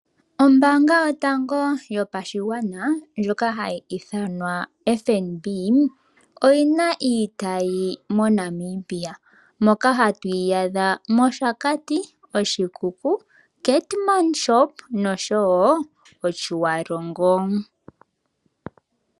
Ombanga yotango yopashigwana ndjoka hayi ithanwa FNB oyina iitayi moNamibia. Moka hatu yi adha mOshakati, Oshikuku, Keetmanshop noshowo Otjiwarongo.